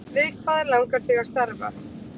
Við hvað langar þig að starfa?